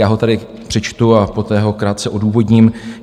Já ho tady přečtu a poté ho krátce odůvodním.